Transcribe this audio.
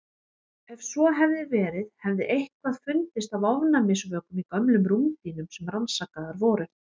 Ef svo hefði verið hefði eitthvað fundist af ofnæmisvökum í gömlum rúmdýnum sem rannsakaðar voru.